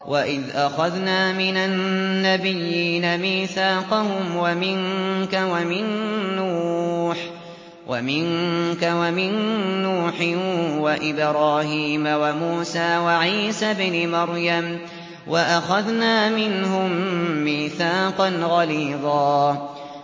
وَإِذْ أَخَذْنَا مِنَ النَّبِيِّينَ مِيثَاقَهُمْ وَمِنكَ وَمِن نُّوحٍ وَإِبْرَاهِيمَ وَمُوسَىٰ وَعِيسَى ابْنِ مَرْيَمَ ۖ وَأَخَذْنَا مِنْهُم مِّيثَاقًا غَلِيظًا